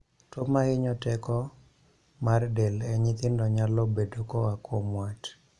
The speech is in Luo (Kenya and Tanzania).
Tuo mahinyo teko mar del e nyithindo nyalo bedo koa kuom wat